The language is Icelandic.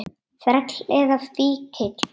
Þræll eða fíkill.